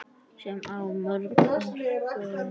Sem á morgun.